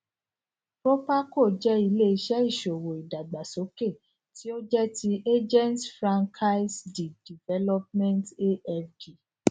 èyí ni èrọ ìbánisòrò alágbèéká àkókó ní ilè áfíríkà tí wón ti ń wón ti ń sọ èdè faransé